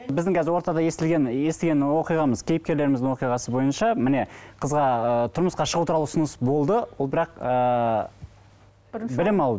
біздің қазір ортада естілген естіген оқиғамыз кейіпкерлеріміздің оқиғасы бойынша міне қызға ы тұрмысқа шығу туралы ұсыныс болды ол бірақ ыыы білім алу